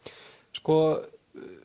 sko